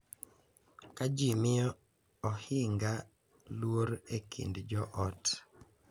Ka ji miyo ohinga luor e kind jo ot,